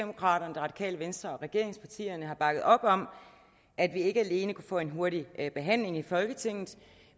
radikale venstre og regeringspartierne har bakket op om at vi ikke alene kunnet få en hurtig behandling i folketinget